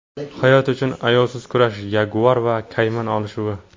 Hayot uchun ayovsiz kurash: yaguar va kayman olishuvi .